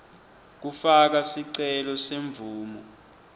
kufaka sicelo semvumo